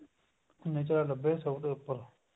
ਨਿਚਲਾ ਨੱਬੇ ਸੋ ਦਾ ਉੱਪਰ